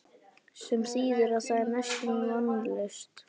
Sem þýðir að það er næstum því vonlaust.